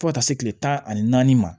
Fo ka taa se kile tan ani naani ma